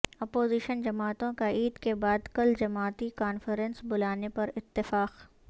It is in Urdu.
اپوزیشن جماعتوں کا عید کے بعد کل جماعتی کانفرنس بلانے پر اتفاق